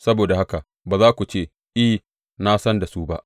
Saboda haka ba za ku ce, I, na san da su ba.’